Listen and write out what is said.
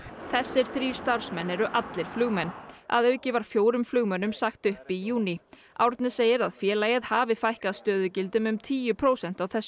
þessir þrír starfsmenn eru allir flugmenn að auki var fjórum flugmönnum sagt upp í júní Árni segir að félagið hafi fækkað stöðugildum um tíu prósent á þessu